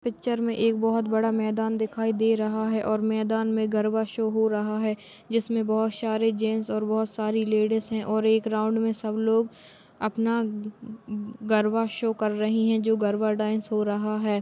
Picture में एक बहुत बड़ा मैदान दिखाई दे रहा है और मैदान में गरबा शो हो रहा है जिसमे बहुत सारे जेंट्स और बहुत सारी लेडिस और एक राउंड में सब लोग अपना अ अ गरबा शो कर रही है जो गरबा डांस हो रहा है।